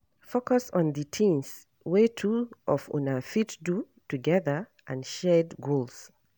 Focus on di things wey two of una fit do together and shared goals